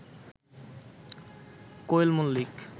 Koel Mallick